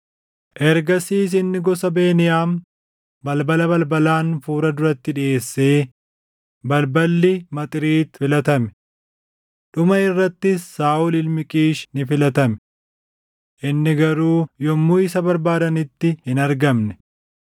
Ergasiis inni gosa Beniyaam balbala balbalaan fuula duratti dhiʼeessee balballi Maxriit filatame. Dhuma irrattis Saaʼol ilmi Qiish ni filatame. Inni garuu yommuu isa barbaadanitti hin argamne.